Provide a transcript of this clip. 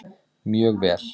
Mjög vel